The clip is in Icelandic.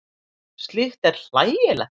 Slíkt er hlægilegt.